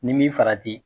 Ni min farati